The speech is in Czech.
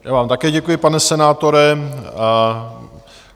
Já vám také děkuji, pane senátore.